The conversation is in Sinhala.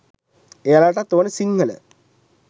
එයාලටත් ඕනේ සිංහල